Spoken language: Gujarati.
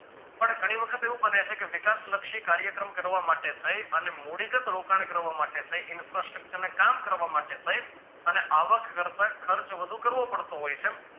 પણ ઘણી વખત એવું બને છે કે વિકાસલક્ષી કાર્યક્રમ કરવા માટે દહીં અને મુળીગત રોકાણ કરવા માટે infascture ના કામ કરવા માટે થઇ અને આવક કરતા ખર્ચ વધુ કરવો પડતો હોઈ છે